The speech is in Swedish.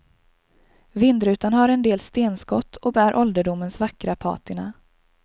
Vindrutan har en del stenskott och bär ålderdomens vackra patina.